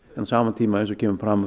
sama tíma eins og kemur fram